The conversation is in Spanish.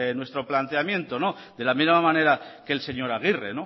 nuestro planteamiento de la misma manera que el señor agirre